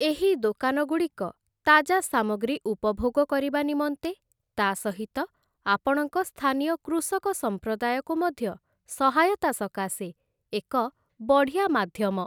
ଏହି ଦୋକାନଗୁଡ଼ିକ, ତାଜା ସାମଗ୍ରୀ ଉପଭୋଗ କରିବା ନିମନ୍ତେ, ତା' ସହିତ ଆପଣଙ୍କ ସ୍ଥାନୀୟ କୃଷକ ସମ୍ପ୍ରଦାୟକୁ ମଧ୍ୟ ସହାୟତା ସକାଶେ ଏକ ବଢ଼ିଆ ମାଧ୍ୟମ ।